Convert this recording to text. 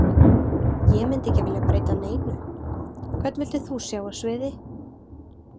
Ég myndi ekki vilja breyta neinu Hvern vildir þú sjá á sviði?